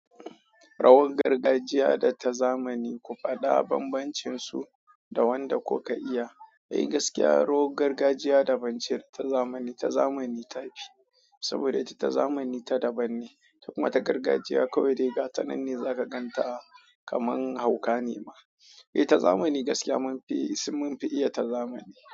Rawar gargajiya da ta zamani ku faɗa bambancinsu da wanda kuka iya. Eh gaskiya, rawar gargajiya daban ce ta zamani, ta zamani ta fi. Saboda ita zamani ta daban ne, kuma ta gargajiya kawai riga sananne za ka gan ta kamar hauka ne ma. Eh ta zamani gaskiya mun fi mun fi iya ta zamani.